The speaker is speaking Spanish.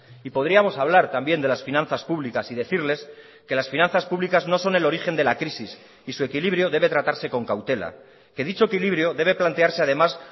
y podríamos hablar también de las finanzas públicas y decirles que las finanzas públicas no son el origen de la crisis y su equilibrio debe tratarse con cautela que dicho equilibrio debe plantearse además